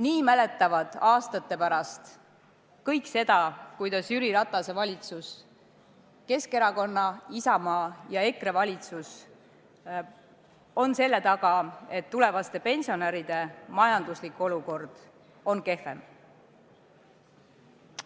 nii mäletavad aastate pärast kõik ka seda, kuidas Jüri Ratase valitsus – Keskerakonna, Isamaa ja EKRE valitsus – on selle taga, et tulevaste pensionäride majanduslik olukord on kehvem.